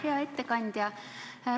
Hea ettekandja!